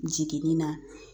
Jiginni na